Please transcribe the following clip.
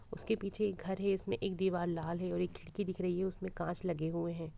उसके पीछे एक घर है इसमें एक दीवाल लाल है। एक खिड़की दिख रही है उसमें कांच लगे हुए हैं।